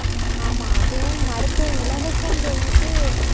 ஆமா, அதுவும் மருத்துவம் இலவசம்ன்னு சொல்லிட்டு